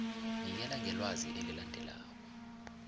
nikela ngelwazi elilandelako